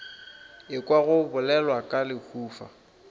ekwa go bolelwa ka lehufa